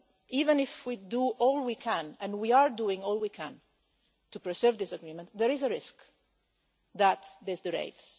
Even if we do all we can and we are doing all we can to preserve this agreement, there is a risk that this derails.